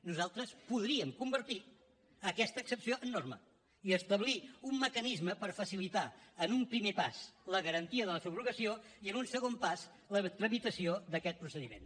nosaltres podríem convertir aquesta excepció en norma i establir un mecanisme per facilitar en un primer pas la garantia de la subrogació i en un segon pas la tramitació d’aquest procediment